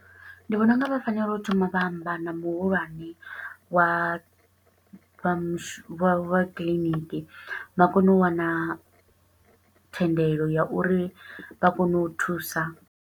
Ndi vhona unga vha fanela u thoma vha amba na muhulwane wa vha, vha vha kiḽiniki. Vha kone u wana thendelo ya uri vha kone u thusa.